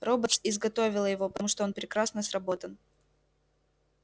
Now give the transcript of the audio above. роботс изготовила его потому что он прекрасно сработан